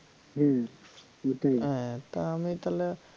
হম তাহলে আমি তইলে